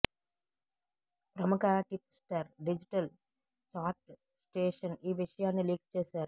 ప్రముఖ tipster digital chat station ఈ విషయాన్ని లీక్ చేశారు